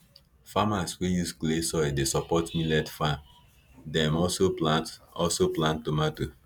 farmers wey use clay soil dey support millet farm dem also plant also plant tomato